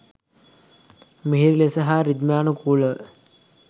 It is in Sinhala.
මිහිරි ලෙස හා රිද්මයානුකූල ව